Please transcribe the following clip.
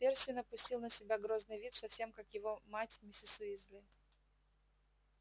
перси напустил на себя грозный вид совсем как его мать миссис уизли